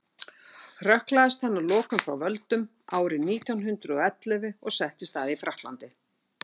hrökklaðist hann að lokum frá völdum árið nítján hundrað og ellefu og settist að í frakklandi